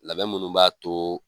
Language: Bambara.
Labɛn munnu b'a to